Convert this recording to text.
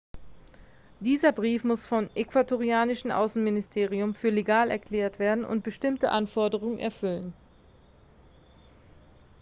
dieser brief muss vom ecuadorianischen außenministerium für legal erklärt werden und bestimmte anforderungen erfüllen